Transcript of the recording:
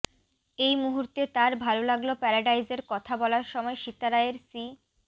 এই মুহূর্তে তার ভাল লাগল প্যারাডাইসের কথা বলার সময় সীতা রায়ের শি